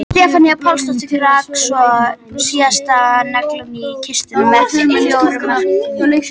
Stefanía Pálsdóttir rak svo síðasta naglann í kistuna með fjórða markinu.